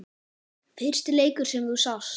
Fyrsti leikur sem þú sást?